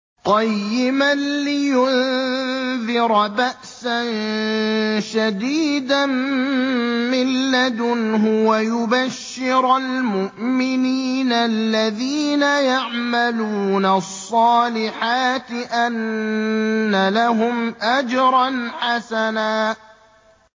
قَيِّمًا لِّيُنذِرَ بَأْسًا شَدِيدًا مِّن لَّدُنْهُ وَيُبَشِّرَ الْمُؤْمِنِينَ الَّذِينَ يَعْمَلُونَ الصَّالِحَاتِ أَنَّ لَهُمْ أَجْرًا حَسَنًا